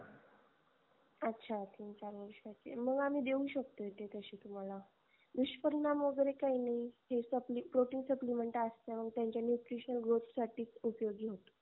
अच्छा तीन चार वर्षाचे मग आम्ही देऊ शकतो ते तसे तुम्हाला दुष्परिणाम वगेरे काही नाही हे protein supplemnet असतात हे त्यांच्या nutrition growth साठी उपयोगी होतो